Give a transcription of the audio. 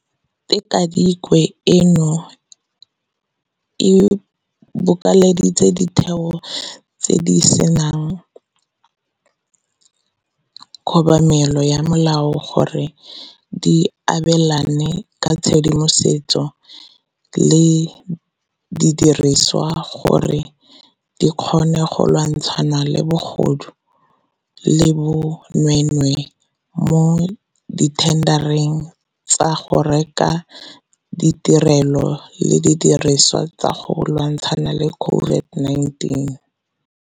Tikwatikwe eno e bokeleditse ditheo tse di disang kobamelo ya molao gore di abelane ka tshedimosetso le didirisiwa gore di kgone go lwantshana le bogodu le bo nweenwee mo dithendareng tsa go reka ditirelo le didirisiwa tsa go lwantshana le COVID-19.